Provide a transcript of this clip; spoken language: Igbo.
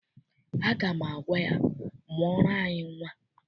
Aga m agwa ya, mụọrọ anyị nnwa.